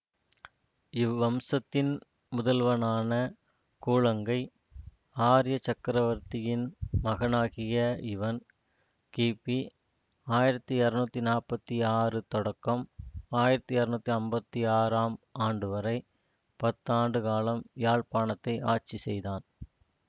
இவ்வம்சத்தின் முதல்வனான கூழங்கை ஆரிய சக்கரவர்த்தியின் மகனாகிய இவன் கிபி ஆயிரத்தி இருநூத்தி நாற்பத்தி ஆறு தொடக்கம் ஆயிரத்தி இருநூத்தி ஐம்பத்தி ஆறு ஆம் ஆண்டுவரை பத்தாண்டு காலம் யாழ்ப்பாணத்தை ஆட்சி செய்தான்